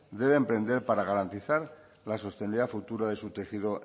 debe emprender para garantizar la sostenibilidad futura de su tejido